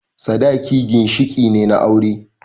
Sadaki ginshiƙi ne na aure